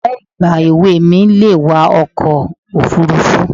Ọ̀rẹ́ ìgbà èwe mi le wa ọkọ̀ òfuurufú